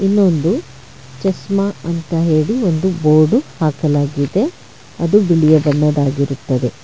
ಇಲ್ಲೊಂದು ಚಸ್ಮಾ ಅಂತ ಹೇಳಿ ಒಂದು ಬೋರ್ಡ್ ಹಾಕಲಾಗಿದೆ ಅದು ಬಿಳಿಯ ಬಣ್ಣದಾಗಿರುತ್ತದೆ.